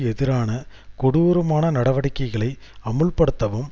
எதிரான கொடூரமான நடவடிக்கைகளை அமுல்படுத்தவும்